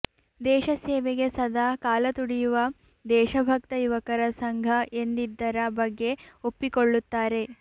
ದೇಶ ಸೇವೆಗೆ ಸದಾ ಕಾಲ ತುಡಿಯುವ ದೇಶಭಕ್ತ ಯುವಕರ ಸಂಘ ಎಂದಿದ್ದರ ಬಗ್ಗೆ ಒಪ್ಪಿಕೊಳ್ಳುತ್ತಾರೆ